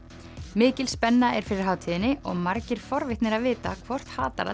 mikil spenna er fyrir hátíðinni og margir forvitnir að vita hvort